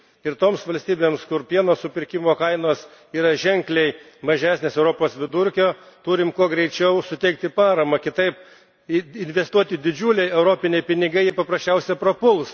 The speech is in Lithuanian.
Ir toms valstybėms, kur pieno supirkimo kainos yra ženkliai mažesnės už Europos vidurkį, turime kuo greičiau suteikti paramą, kitaip investuoti didžiuliai Europos pinigai paprasčiausiai prapuls.